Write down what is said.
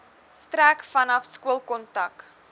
strek vanaf skoolkontak